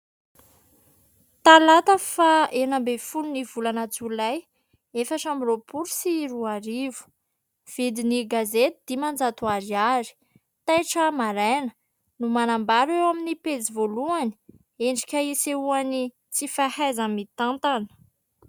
Talata faha enina ambin'ny folon'ny volana jolay efatra amby roapolo sy roarivo. Vidin'ny gazety: dimanjato Ariary. Taitra Maraina no manambara eo amin'ny pejy voalohany : "endrika isehoan'ny tsy fahaiza-mitantana".